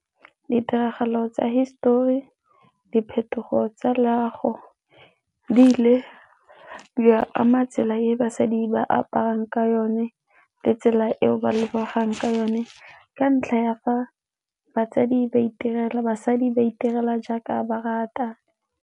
Ditiragalo tsa hisetori, diphetogo tsa loago di ile di ama tsela e basadi ba aparang ka yone le tsela eo ba lebegang ka yone ka ntlha ya fa basadi ba itirela jaaka ba rata.